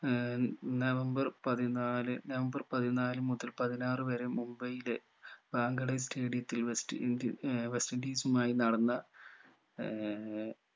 ഏർ November പതിനാല് November പതിനാല് മുതൽ പതിനാറ് വരെ മുംബൈയിലെ വാങ്കഡെ stadium ത്തിൽ west ind ഏർ west indies ഉമായി നടന്ന ഏർ